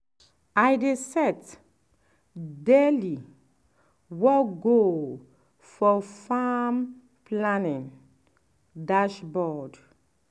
i dey set daily work goal for farm planning dashboard.